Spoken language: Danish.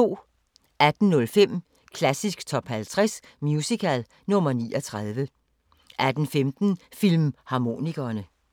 18:05: Klassisk Top 50 Musical – nr. 39 18:15: Filmharmonikerne